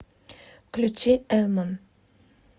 включи элман